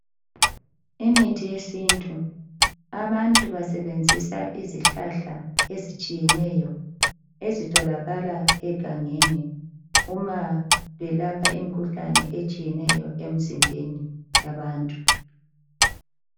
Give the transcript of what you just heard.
Imithi yesintu. Abantu basebenzisa izihlahla ezitshiyeneyo ezitholakala egangeni uma belapha imikhuhlane etshiyeneyo emizimbeni yabantu.